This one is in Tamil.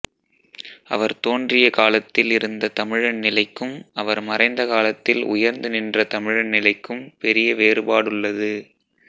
அவர் தோன்றிய காலத்தில் இருந்த தமிழின் நிலைக்கும் அவர் மறைந்த காலத்தில் உயர்ந்து நின்ற தமிழின் நிலைக்கும் பெரிய வேறுபாடுள்ளது